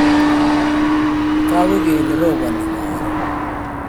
tagu kole robani karon